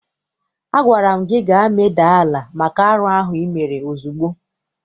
Agwara m gị gaa medaa ala maka arụ ahụ ị mere ozugbo!